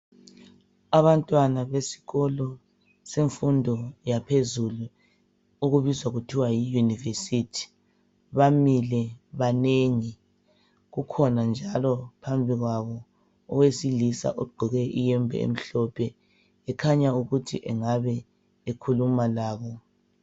Abantwana besikolo semfundo yaphezulu okubiza kuthiwa yi university. Bamile banengi. Kukhona njalo phambi kwabo owesilisa ogqoke iyembe emhlophe. Ekhanya ukuthi engabe ekhuluma labo.